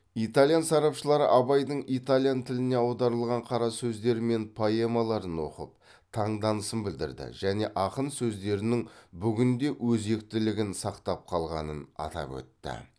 итальян сарапшылары абайдың итальян тіліне аударылған қара сөздері мен поэмаларын оқып таңданысын білдірді және ақын сөздерінің бүгін де өзектілігін сақтап қалғанын атап өтті